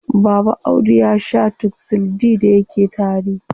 Baba Audu ya shaa Tuxil D da yake tari.